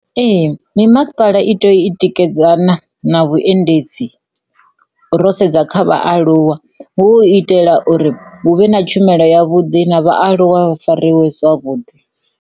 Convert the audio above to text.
Ee, mimasipala i tikedzana na vhuendedzi ro sedza kha vhaaluwa hu itela uri hu vhe na tshumelo ya vhuḓi na vhaaluwa hu fariwe zwavhudi.